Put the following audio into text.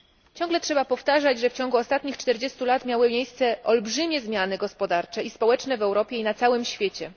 Ciągle trzeba powtarzać, że w ciągu ostatnich 40 lat miały miejsce olbrzymie zmiany gospodarcze i społeczne w Europie i na całym świecie.